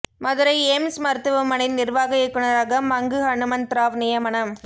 Madurai AIIMS மருத்துவமனை நிர்வாக இயக்குனராக மங்கு ஹனுமந்த ராவ் நியமனம்